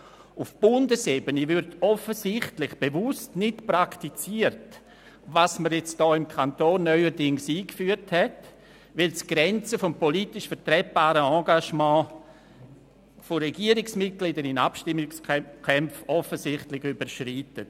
Auf Bundesebene wird dies offensichtlich bewusst nicht praktiziert, weil es die Grenze des politisch vertretbaren Engagements von Regierungsmitgliedern in Abstimmungskämpfen offensichtlich überschreitet.